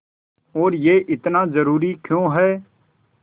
और यह इतना ज़रूरी क्यों है